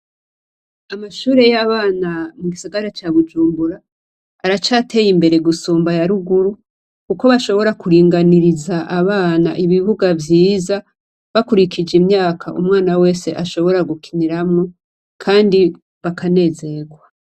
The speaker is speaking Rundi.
Amashure y'abana mugisagara ça Bujumbura, aracateye imbere gusumba ayaruguru kuko bashobora kuringaniriza abana ibibuga vyiza, bakurilije imyaka umwana wese ashobora gukiniramwo, kandi bakanezerwa.